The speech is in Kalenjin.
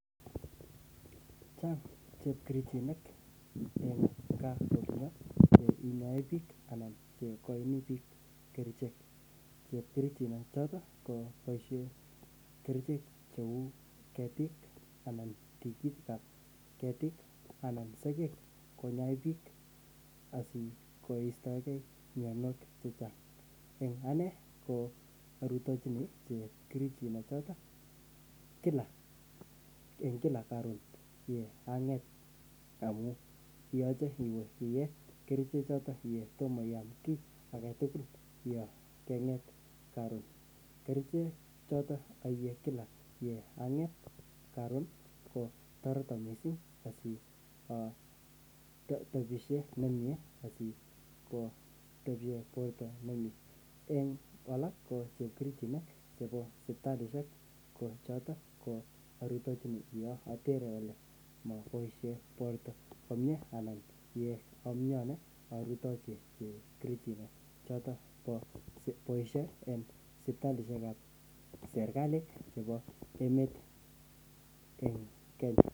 Chang' chepkerichinik chinyoe biik anan cheikoin biik kerichek, boisien ichek kerichek chebo ketik anan tikitik ab ketik anan sokek konyoe biik asikoistoeke myonwogik chechang',en ane orutonjini chepkerichot en kila karon amun yoche iye kerichek chotok kotomo iyam ki age. Kerichek chotok kotoreto missing borto nyun. En alak en chepkerichinik ko choto koarutenjini yon koker ole mobois chebo ake aboisien cheboisie en serkalit ab Kenya.